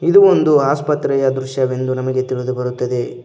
ಇದು ಒಂದು ಆಸ್ಪತ್ರೆಯ ದೃಶ್ಯವೆಂದು ನಮಗೆ ತಿಳಿದು ಬರುತ್ತದೆ.